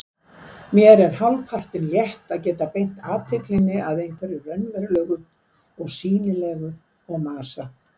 Mér er hálfpartinn létt að geta beint athyglinni að einhverju raunverulegu og sýnilegu og masa